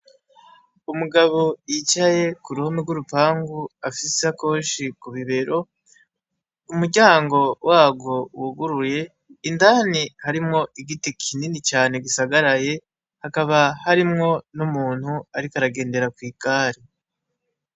Umugabo yicaye k'uruhome rw'urupangu, afise ishakoshi kubibero umuryango wagwo wuguruye, indani harimwo igiti kinini cane gisagaraye hakaba hariyo n''umuntu ariko aragendera kwigari.